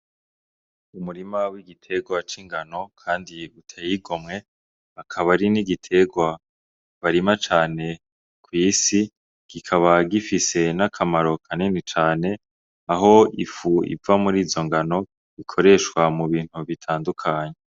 Umurima w'igiterwa c'ingano, kandi yigute yigomwe akabari n'igiterwa barima cane kw'isi gikaba gifise n'akamaro kaneni cane aho ifu iva muri zo ngano ikoreshwa mu bintu bitandukanye.